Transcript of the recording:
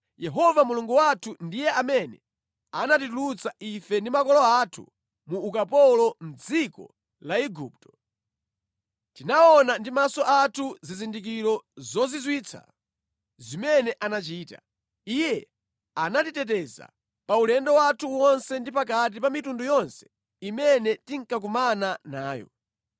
Yehova Mulungu wathu ndiye amene anatitulutsa ife ndi makolo athu mu ukapolo, mʼdziko la Igupto. Tinaona ndi maso athu zizindikiro zozizwitsa zimene anachita. Iye anatiteteza pa ulendo wathu wonse ndi pakati pa mitundu yonse imene tinkakumana nayo.